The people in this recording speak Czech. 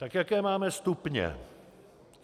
Tak jaké máme stupně?